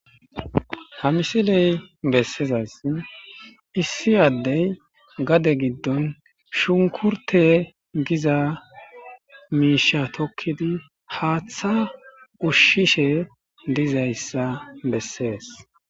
ha misiley bessezas issi addey gade giddon shunkurte giza miisha tokkidi haaththa ushshishe dizayssa bessees